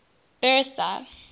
bertha